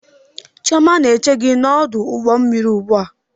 Chioma na-eche gi n'ọdụ ụgbọ mmiri ugbua